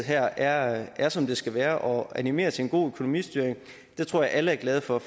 her er som det skal være og animerer til en god økonomistyring det tror jeg alle er glade for